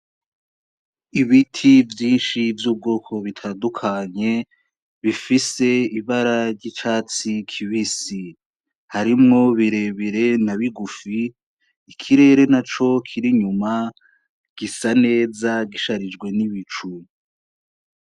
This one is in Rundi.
Ibiti vyinshi vy' ubwoko bitandukanye bifise ibara ry'icatsi kibisi harimwo bire bire na bigufi ikirere naco kiri inyuma gisa neza gisharijwe n' ibicu.